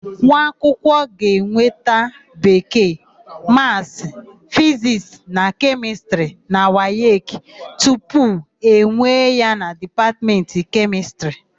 Nwaakwụkwọ ga-enweta Bekee, Maasị, Fizisti na Kemịstịrị na wayeki tupu ewee ya na Dipatmentị Kemịstịrị.